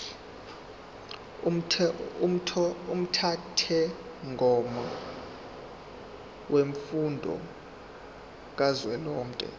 umthethomgomo wemfundo kazwelonke